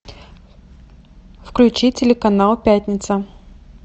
включи телеканал пятница